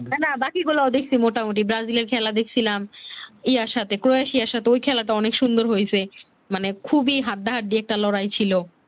না না বাকি গুলাও দেখছি মোটা মুটি ব্রাজিলে খেলা দেখছিলাম ইয়ার সাথে ক্রোশিয়ার সাথে ঐ খেলা টাও অনেক সুন্দর হয়ছে মানে খুবি হাড্ডাহাড্ডি একটা লড়াই ছিলো